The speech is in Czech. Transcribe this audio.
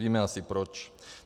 Víme asi proč.